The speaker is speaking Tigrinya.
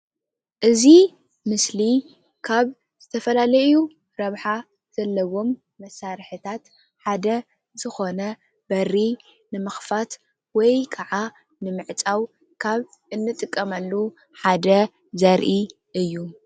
እዚ ምስሊ ካብ ዝተፈላለዩ ረብሓ ዘለዎም መሳርሕታት ሓደ ዝኾነ በሪ ንምኽፋት ወይ ክዓ ንምዕፃው ካብ እንጥቀመሉ ሓደ ዘርኢ እዩ።